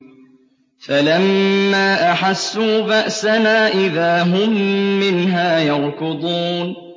فَلَمَّا أَحَسُّوا بَأْسَنَا إِذَا هُم مِّنْهَا يَرْكُضُونَ